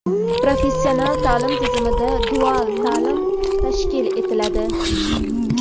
Professional taʼlim tizimida dual taʼlim tashkil etiladi.